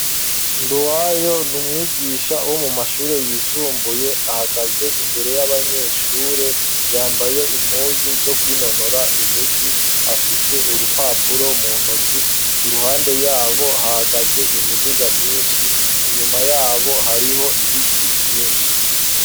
Nduwayo ni umwigisha wo mu mashure yisumbuye ahagaze imbere y'abanyeshure yambaye impuzu zo kwinonora imitsi afise urupapuro mu ntoki iruhande yabo hahagaze imiduga myinshi inyuma yabo hariho ibiti vyinshi.